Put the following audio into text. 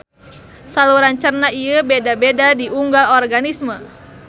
Saluran cerna ieu beda-beda di unggal organisme.